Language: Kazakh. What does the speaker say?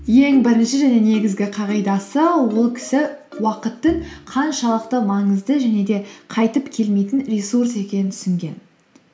ең бірінші және негізгі қағидасы ол кісі уақыттың қаншалықты маңызды және де қайтып келмейтін ресурс екенін түсінген